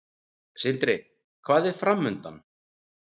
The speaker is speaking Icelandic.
Sindri: Hvað er framundan?